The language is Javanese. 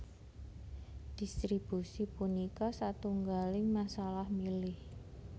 Dhistribusi punika satunggaling masalah milih